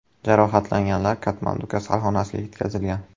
Jarohatlanganlar Katmandu kasalxonasiga yetkazilgan.